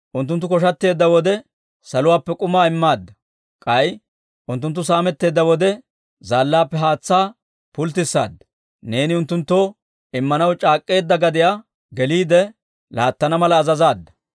Unttunttu koshateedda wode saluwaappe k'umaa immaadda; k'ay unttunttu saametteedda wode zaallaappe haatsaa pulttissaadda. Neeni unttunttoo immanaw c'aak'k'eedda gadiyaa geliide laattana mala azazaadda.